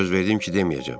Söz verdim ki, deməyəcəm.